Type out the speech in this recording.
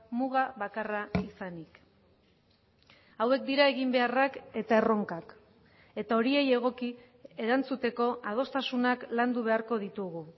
muga bakarra izanik hauek dira eginbeharrak eta erronkak eta horiei egoki erantzuteko adostasunak landu beharko ditugu